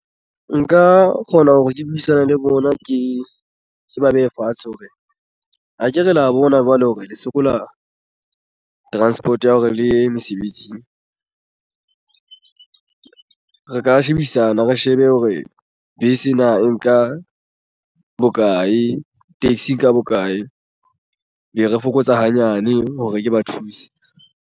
Nka kgona hore ke buisane le bona ke ba behe fatshe hore akere la bona jwale hore le sokola transport ya hore le ye mesebetsing re ka shebisana re shebe hore bese na nka bokae taxi ka bokae be re fokotsa hanyane hore ke ba thuse.